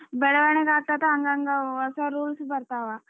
ಬೆಳವಣಿಗೆ ಆಗ್ತಾಯಿತಾ ಹಂಗಂಗ ಹೊಸ rules ಬರ್ತಾವ.